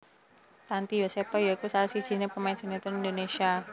Tanty Yosepha ya iku salah sijiné pemain sinétron Indonésia